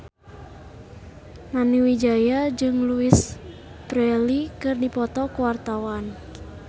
Nani Wijaya jeung Louise Brealey keur dipoto ku wartawan